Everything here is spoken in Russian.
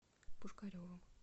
пушкаревым